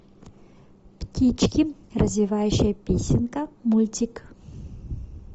птички развивающая песенка мультик